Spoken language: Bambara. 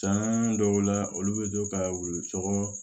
San dɔw la olu be to ka wulu cɔgɔ